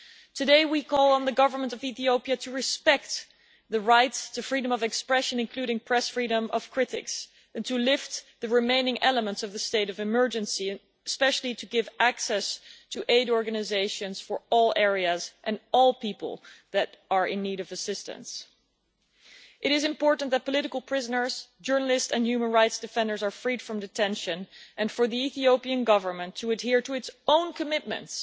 Today we call on the government of Ethiopia to respect the rights to freedom of expression, including the press freedom of critics, to lift the remaining elements of the state of emergency, and especially to give access to aid organisations for all areas and all people who are in need of assistance. It is important that political prisoners, journalists and human rights defenders be freed from detention and for the Ethiopian Government to adhere to its own commitments